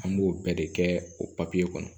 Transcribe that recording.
An b'o bɛɛ de kɛ o papiye kɔnɔ